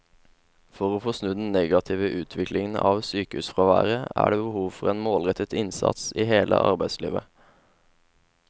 For å få snudd den negative utviklingen av sykefraværet er det behov for en målrettet innsats i hele arbeidslivet.